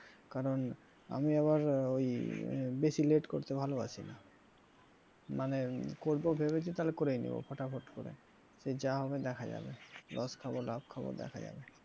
কারণ আমি আবার ওই বেশি late করতে ভালবাসি না মানে করব ভেবেছি তালে করেই নেব পটাপট করে সে যা হবে দেখা যাবে loss খাব লাভ খাবো দেখা যাবে,